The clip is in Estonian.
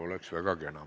Oleks väga kena.